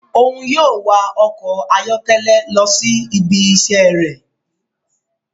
Òún yóò wà ọkọ ayọkẹlẹ lọ si ibi iṣẹ rẹ